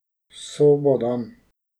Sobo dam.